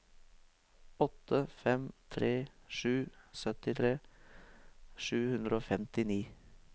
åtte fem tre sju syttitre sju hundre og femtini